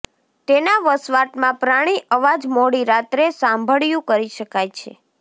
તેના વસવાટમાં પ્રાણી અવાજ મોડી રાત્રે સાંભળ્યું કરી શકાય છે